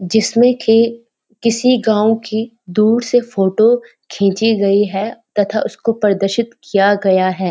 जिसने की किसी गाँव की दूर से फोटो खींची गई है तथा उसको पारदाशित किया गया है।